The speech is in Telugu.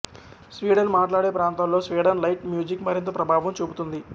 స్వీడన్ మాట్లాడే ప్రాంతాల్లో స్వీడన్ లైట్ మ్యూజిక్ మరింత ప్రభావం చూపుతుంది